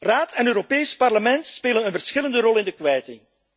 Raad en Europees Parlement spelen een verschillende rol in de kwijting.